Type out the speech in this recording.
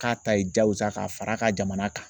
K'a ta ye jagosa ka far'a ka jamana kan